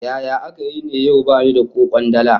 Yaya aka yi ne yau bani da ko kwandala?